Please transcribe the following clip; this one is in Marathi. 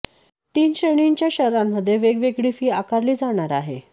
तीन श्रीणींच्या शहरांमध्ये वेग वेगळी फी आकरली जाणार आहे